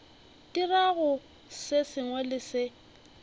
dirago se sengwe le se